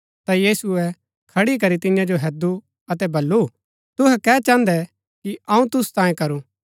ता यीशुऐ खड़ी करी तियां जो हैदु अतै बल्लू तुहै कै चाहन्दै कि अऊँ तुसु तांयें करू